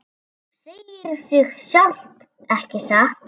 Segir sig sjálft, ekki satt?